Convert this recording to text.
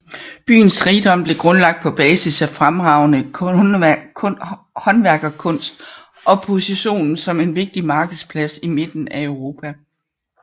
Byens rigdom blev grundlagt på basis af fremragende håndværkskunst og positionen som en vigtig markedsplads i mitten af Europa